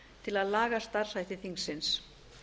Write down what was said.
til að laga starfshætti þingsins